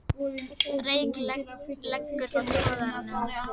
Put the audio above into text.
Reyk leggur frá togaranum